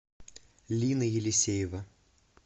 лина елисеева